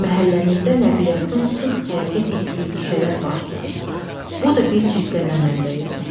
Məhəllənizdə nəqliyyatın sıx hərəkət etdiyi küçələr varsa, bu da bir çirklənmə mənbəyidir.